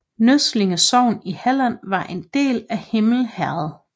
Nøsslinge sogn i Halland var en del af Himle herred